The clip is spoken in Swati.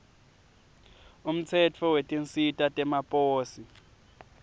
umtsetfo wetinsita temaposi